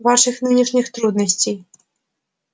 ваших нынешних трудностей